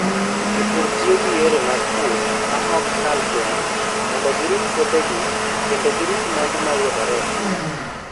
Jopur tiyo gi yore mag pur ma ok kal tong' mondo girit puothegi kendo rito mwandu ma yudore e piny.